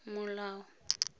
molao